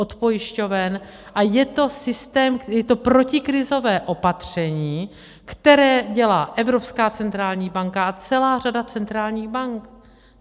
Od pojišťoven, a je to systém, je to protikrizové opatření, které dělá Evropská centrální banka a celá řada centrálních bank.